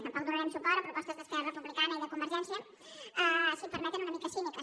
tampoc donarem suport a propostes d’esquerra republicana i de convergència si m’ho permeten una mica cíniques